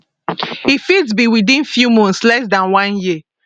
e fit be within few months less dan one year